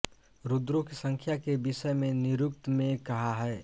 रुद्रों की संख्या के विषय में निरुक्त में कहा है